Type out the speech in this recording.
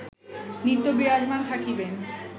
নিত্য বিরাজমান থাকিবেন